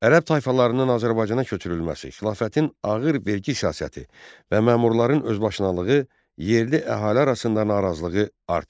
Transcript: Ərəb tayfalarının Azərbaycana köçürülməsi, xilafətin ağır vergi siyasəti və məmurların özbaşınalığı yerli əhali arasında narazılığı artırırdı.